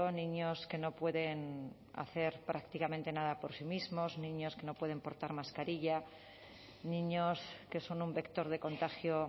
niños que no pueden hacer prácticamente nada por sí mismos niños que no pueden portar mascarilla niños que son un vector de contagio